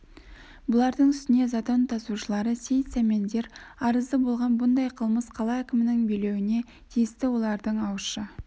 бұлардың үстіне затон тасушылары сейіт сәмендер арызы болған бұндай қылмыс қала әкімінің билеуіне тиісті олардың ауызша